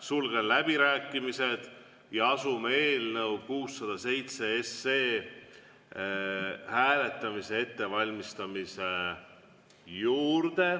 Sulgen läbirääkimised ja asume eelnõu 607 hääletamise ettevalmistamise juurde.